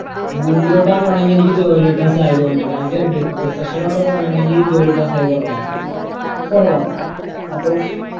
പോണെങ്കി എനിക്ക് ജോലി കിട്ടാൻ സാധ്യത ഉണ്ട് രാജ്യം profession ഓട്ടു പോവാണെങ്കി ജോലി കിട്ടാൻ സാധ്യത കുറവാ കുറവാ അപ്പൊ